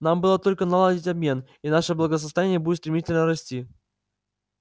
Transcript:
нам было только наладить обмен и наше благосостояние будет стремительно расти